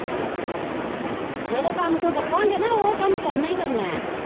ਜਿਹੜੇ ਕੰਮ ਤੋਂ ਡਕਾਂਗੇ ਨਾ ਉਹ ਕੰਮ ਕਰਨਾ ਹੀ ਕਰਨਾ ਹੈ।